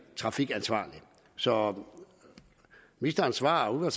trafikansvarligt så ministerens svar og